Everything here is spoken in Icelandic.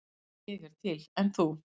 Ég er til, en þú?